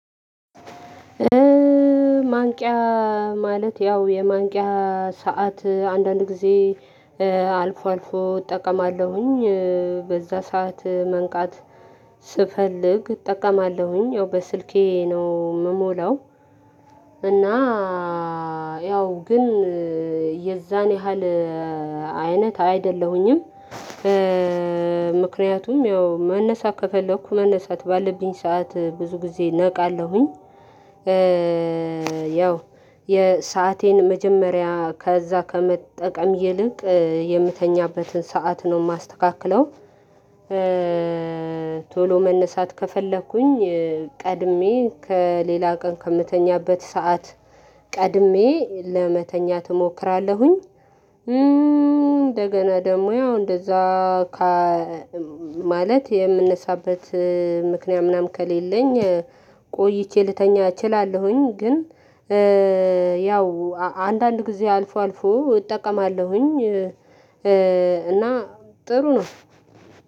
ማንቂያ ማለት ያው የማንቂያ ሰዓት አንዳንድ ጊዜ አልፎ አልፎ እጠቀማለሁኝ በዛ ሰዓት መንቃት ስፈልግ እጠቀማለሁኝ ያው በስልኬ ነው የምሞላው። እና ያው ግን የዛን ያህል አይነት አይደለሁኝም። ምክንያቱም ያው መነሳት ከፈለኩ መነሳት ባለብኝ ሰዓት ብዙ ጊዜ ነቃለሁኝ። ያው የሰአቴን መጀመሪያ ከዛ ከመጠቀም ይልቅ የምተኛበትን ሰዓት ነው የማስተካክለው። ቶሎ መነሳት ከፈለኩኝ ቀድሜ ከሌላ ቀን ከምተኛበት ሰዓት ቀድሜ ለመተኛት እሞክራለሁኝ። እንደገና ደግሞ እንደዛ ማለት የምንነሳበት ምክንያት ምናምን ከሌለኝ ቆይቼ ልተኛ እችላለሁኝ። ግን ያው አንዳንድ ጊዜ አልፎ አልፎ እጠቀማለሁኝ። እና ጥሩ ነው።